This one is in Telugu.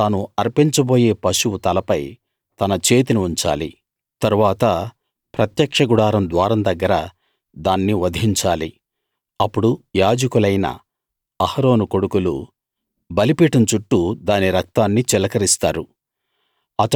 అతడు తాను అర్పించబోయే పశువు తలపై తన చేతిని ఉంచాలి తరువాత ప్రత్యక్ష గుడారం ద్వారం దగ్గర దాన్ని వధించాలి అప్పుడు యాజకులైన అహరోను కొడుకులు బలిపీఠం చుట్టూ దాని రక్తాన్ని చిలకరిస్తారు